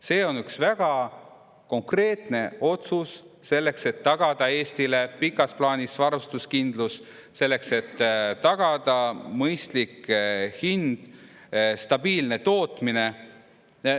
See on üks väga konkreetne otsus, selleks et tagada Eestile pikas plaanis varustuskindlus, selleks et tagada mõistlik hind, stabiilne tootmine.